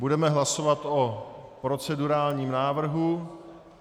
Budeme hlasovat o procedurálním návrhu.